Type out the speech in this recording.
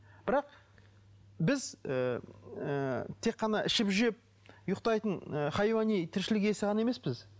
бірақ біз ыыы тек қана ішіп жеп ұйықтайтын ы хайуани тіршілік иесі ғана емеспіз